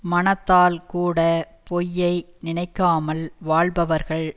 மனத்தால்கூடப் பொய்யை நினைக்காமல் வாழ்பவர்கள்